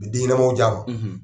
A bi den ɲɛnamaw ja ma